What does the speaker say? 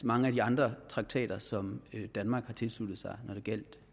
mange af de andre traktater som danmark har tilsluttet sig når det gjaldt